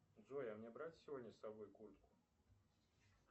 джой а мне брать сегодня с собой куртку